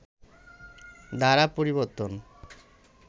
দ্বারা পরিবর্তন